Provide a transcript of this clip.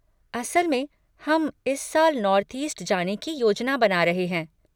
असल में हम इस साल नार्थ ईस्ट जाने की योजना बना रहे हैं।